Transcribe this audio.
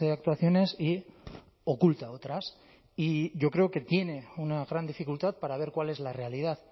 actuaciones y oculta otras y yo creo que tiene una gran dificultad para ver cuál es la realidad